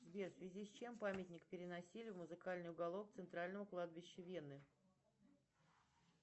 сбер в связи с чем памятник переносили в музыкальный уголок центрального кладбища вены